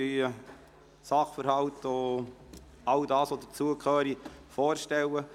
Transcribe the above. Sie würden Sachverhalte und alles, was dazugehört, vorstellen.